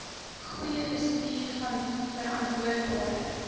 goeie bestuur verantwoordbare